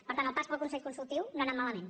per tant el pas pel consell consultiu no ha anat malament